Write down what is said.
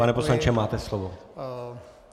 Pane poslanče, máte slovo.